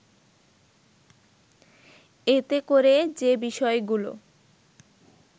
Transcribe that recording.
এতে করে যে বিষয়গুলো